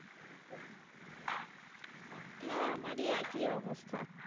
হ্যাঁ আমারি একই অবস্থা